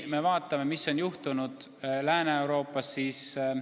Vaadakem, mis on juhtunud Lääne-Euroopas!